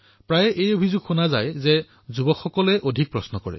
প্ৰায়েই অভিযোগ উত্থাপিত হয় যে যুৱসমাজে অধিক প্ৰশ্ন কৰে